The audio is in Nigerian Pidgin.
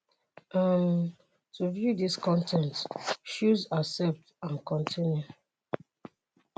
um to view dis con ten t choose 'accept and continue'.